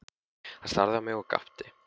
Hann starði á mig og gapti.